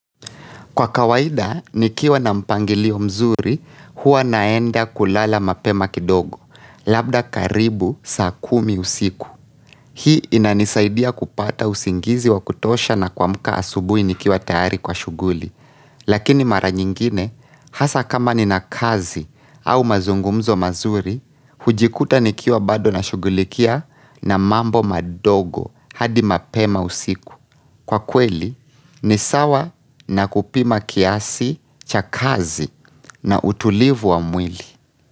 Kwa kawaida, nikiwa na mpangilio mzuri, huwa naenda kulala mapema kidogo, labda karibu saa kumi usiku. Hii inanisaidia kupata usingizi wa kutosha na kuamka asubuhi nikiwa tayari kwa shughuli. Lakini mara nyingine, hasa kama ninakazi au mazungumzo mazuri, hujikuta nikiwa bado nashugulikia na mambo madogo hadi mapema usiku. Kwa kweli ni sawa na kupima kiasi cha kazi na utulivu wa mwili.